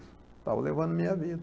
Estava levando a minha vida.